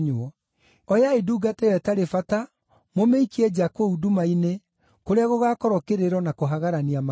Oyai ndungata ĩyo ĩtarĩ bata mũmĩikie nja kũu nduma-inĩ, kũrĩa gũgaakorwo kĩrĩro na kũhagarania magego.’